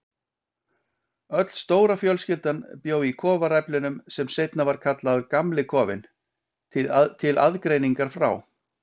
Öll stóra fjölskyldan bjó í kofaræflinum sem seinna var kallaður Gamli kofinn, til aðgreiningar frá